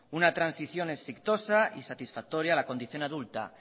una transición exitosa y satisfactoria a la condición adulta